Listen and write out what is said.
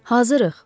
Hazırıq.